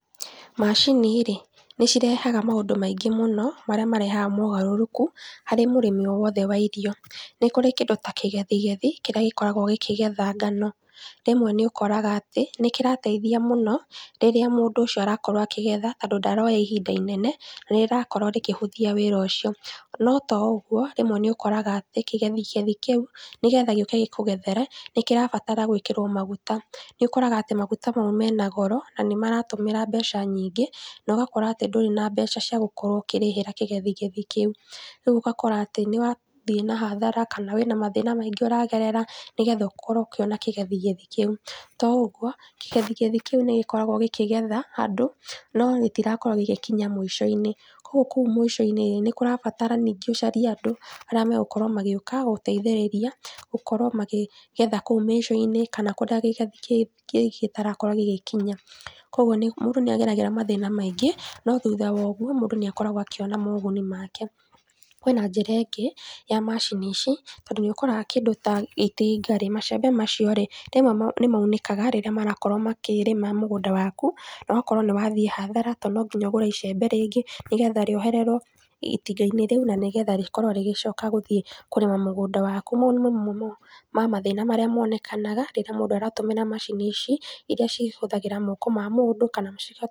Macini rĩ nĩcirehaga maũndũ maingĩ mũno marĩa marehaga mogarũrũku harĩ mũrĩmi o wothe wa irio, nĩkũrĩ kĩndũ ta kĩgethigethi kĩrĩa gĩkoragwo gĩkĩgetha ngano, rĩmwe nĩũkoraga atĩ nĩkĩrateithia mũno rĩrĩa mũndũ ũcio arakorwo akĩgetha tondũ ndaroya ihinda inene na nĩrĩrakorwo rĩkĩhũthia wĩra ũcio, no to ũguo rĩmwe nĩ ũkoraga atĩ kĩgethigethi kĩu nĩgetha gĩũke gĩkũgethere nĩkĩrabatara gwĩkĩrwo maguta nĩũkoraga maguta mau mena goro na nĩ maratũmĩra mbeca nyingĩ na ũgakorwo ndũrĩ na mbeca cia gũkorwo ũkĩrĩhĩra kĩgethigethi kĩu rĩu ũgakora atĩ nĩwathie hathara kana wĩna mathĩna maingĩ ũragerera nĩgetha ũkorwo ũkĩona kĩgethigethi kĩu, to ũguo kĩgethigethi kĩu nĩgĩkoragwo gĩkĩgetha handũ no gĩtinakorwo gĩgĩkinya mũico-inĩ kũu mũco-inĩ nĩ kũrabatara ningĩ ũcarie andũ arĩa magũkorwo magĩgũteithĩrĩrĩa kugetha kũu mĩicoinĩ kana kũrĩa kĩgethigethi kĩu gĩtarakorwo gĩgĩkinya koguo mũndũ nĩageragĩra mathĩna maingĩ no thutha wa ũguo mũndũ nĩakoragwo akĩona moguni make. Kwĩna njĩra ĩngĩ ya macini ici tondũ nĩũkoraga kĩndũ ta itinga rĩ macembe macio rĩ rĩmwe nĩ maunĩkaga rĩrĩa marakorwo makĩrĩma mũgũnda waku na ũgakora nĩ wathie hathara tondũ no nginya ũgure icembe rĩngĩ, nĩgetha rĩohererwo itingainĩ rĩu nĩgetha rĩkworwo rĩgĩcoka gũthie kũrĩma mũgunda waku. Mau nĩ mathĩna mamwe marĩa monekanaga rĩrĩa mũndũ aratũmĩra macini ici iria ihũthagĩra moko ma mũndũ.